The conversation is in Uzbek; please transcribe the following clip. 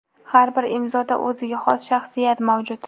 Har bir imzoda o‘ziga xos shaxsiyat mavjud.